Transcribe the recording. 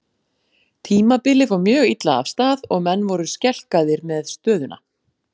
Tímabilið fór mjög illa af stað og menn voru skelkaðir með stöðuna.